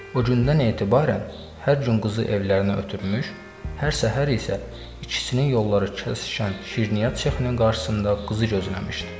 O gündən etibarən hər gün qızı evlərinə ötürmüş, hər səhər isə ikisinin yolları kəsişən şirniyyat sexinin qarşısında qızı gözləmişdi.